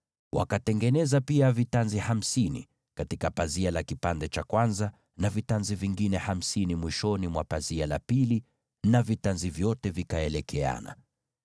Wakatengeneza pia vitanzi hamsini katika pazia mmoja, na vitanzi vingine hamsini kwenye pazia la mwisho la fungu hilo lingine, nazo vitanzi vyote vikaelekeana.